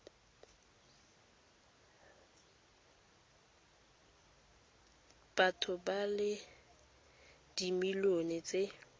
batho ba le dimilione tse